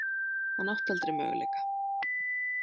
Hann átti aldrei möguleika.